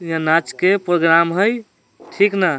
यहाँ नाच के प्रोग्राम हेय ठीक ना।